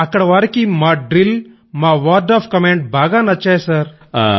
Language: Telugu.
అక్కడి వారికి మా డ్రిల్ మా వర్డ్ ఒఎఫ్ కమాండ్ బాగా నచ్చాయి సర్